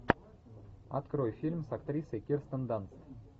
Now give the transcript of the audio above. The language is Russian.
открой фильм с актрисой кирстен данст